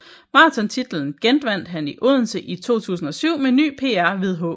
Maratontitlen genvandt han i Odense i 2007 med ny PR ved H